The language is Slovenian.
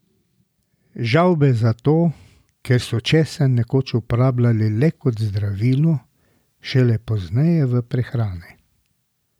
Žavbe zato, ker so česen nekoč uporabljali le kot zdravilo, šele pozneje v prehrani.